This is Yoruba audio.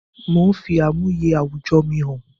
Mò ń fi àmúyẹ àwùjọ mi hàn